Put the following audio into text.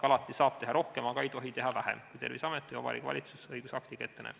Alati saab teha rohkem, aga ei tohi teha vähem, kui Terviseamet või Vabariigi Valitsus õigusaktiga ette näeb.